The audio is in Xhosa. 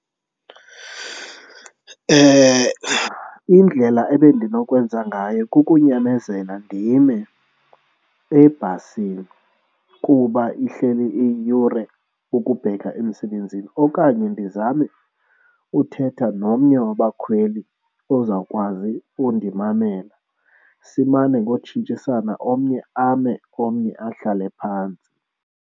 Indlela ebendinokwenza ngayo kukunyamezela ndime ebhasini kuba ihleli iyiyure ukubheka emsebenzini okanye ndizame uthetha nomnye wabakhweli ozawukwazi undimamela simane ngotshintshisana omnye ame, omnye ahlale phantsi.